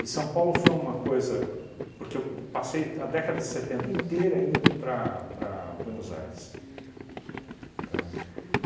E São Paulo foi uma coisa... Porque eu passei a década de setenta inteira indo para para Buenos Aires, tá?